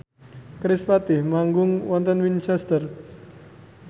kerispatih manggung wonten Winchester